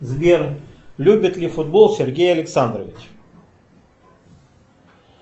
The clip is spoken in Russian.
сбер любит ли футбол сергей александрович